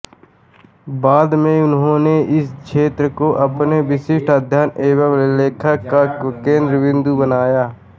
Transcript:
बाद में उन्होंने इस क्षेत्र को अपने विशिष्ट अध्ययन एवं लेखन का केन्द्रबिन्दु बनाया